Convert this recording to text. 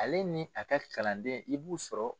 Ale ni a ka kalanden i b'u sɔrɔ